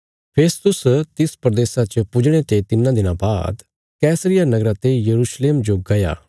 फेस्तुस तिस प्रदेशा च पुजणे ते तिन्नां दिनां बाद कैसरिया नगरा ते यरूशलेम जो गया